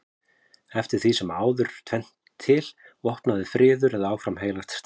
Eftir sem áður er tvennt til: vopnaður friður eða áfram heilagt stríð.